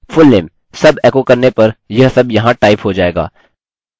मैं इसके बाद test और इसके बाद test टाइप करूँगा